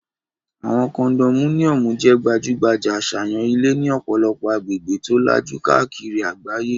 Àwọn kondomíníọ̀mù jẹ́ gbajúgbajà àṣàyàn ilé ní ọ̀pọ̀lọpọ̀ agbègbè tó lajú káàkiri àgbáyé